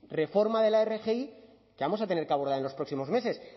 reforma de la rgi que vamos a tener que abordar en los próximos meses